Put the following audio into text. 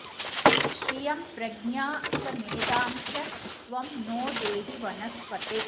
श्रियं प्रज्ञा च मेधां च त्वं नो देहि वनस्पते